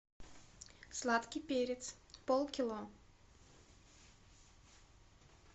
сладкий перец полкило